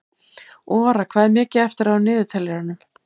Ora, hvað er mikið eftir af niðurteljaranum?